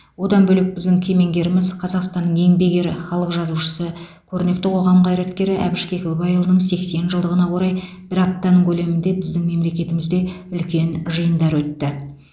одан бөлек біздің кемеңгеріміз қазақстанның еңбек ері халық жазушысы көрнекті қоғам қайраткері әбіш кекілбайұлының сексен жылдығына орай бір аптаның көлемінде біздің мемлекетімізде үлкен жиындар өтті